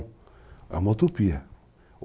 É uma utopia.